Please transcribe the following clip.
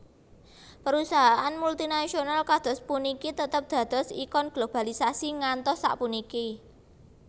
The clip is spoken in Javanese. Perusahaan multinasional kados puniki tetep dados ikon globalisasi ngantos sapuniki